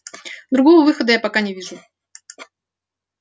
другого выхода я пока не вижу